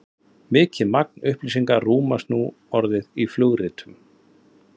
mikið magn upplýsinga rúmast nú orðið í flugritum